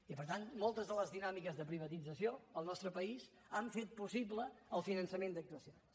i per tant moltes de les dinàmiques de privatització al nostre país han fet possible el finançament d’actuacions